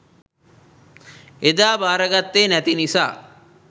එදා බාරගත්තේ නැති නිසා